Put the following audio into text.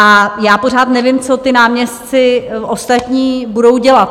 A já pořád nevím, co ti náměstci ostatní budou dělat.